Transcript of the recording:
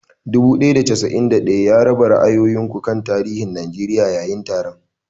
Dubu ɗaya da casa'in ɗaya, raba ra'ayoyin ku kan tarihin Najeriya yayin taron.